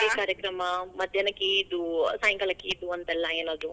ಮೇಹಂದಿ ಕಾರ್ಯಕ್ರಮ ಹಾ ಮಧ್ಯಾನಕ್ ಇದು, ಸಾಯಂಕಾಲಕ್ ಇದು ಅಂತ ಎಲ್ಲ ಏನಾದ್ರು.